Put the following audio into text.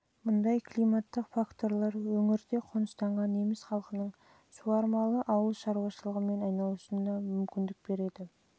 мұндай климаттық факторлар өңірде қоныстанған неміс халқының суармалы ауыл шаруашылығымен айналысуына мүмкіндік беріп сондай-ақ олардың үлкен көлемдегі